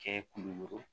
Kɛ kulukoro